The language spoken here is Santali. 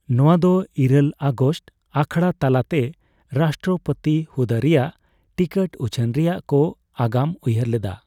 ᱱᱚᱣᱟ ᱫᱚ ᱤᱨᱟᱹᱞ ᱟᱜᱚᱥᱴ ᱟᱠᱷᱲᱟᱛᱟᱞᱟᱛᱮ ᱨᱟᱥᱴᱨᱚᱯᱚᱛᱤ ᱦᱩᱫᱟᱹ ᱨᱮᱭᱟᱜ ᱴᱤᱠᱤᱴ ᱩᱪᱷᱟᱹᱱ ᱨᱮᱭᱟᱜ ᱠᱚ ᱟᱜᱟᱢ ᱩᱭᱦᱟᱹᱨ ᱞᱮᱫᱟ ᱾